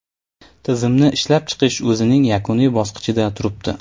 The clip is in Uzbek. Tizimni ishlab chiqish o‘zining yakuniy bosqichida turibdi.